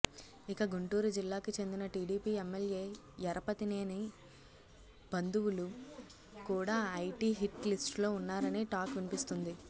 ఇక గుంటూరు జిల్లాకి చెందిన టీడీపీ ఎమ్మెల్యే యరపతినేని భంధువులు కూడా ఐటీ హిట్ లిస్టులో ఉన్నారని టాక్ వినిపిస్తోంది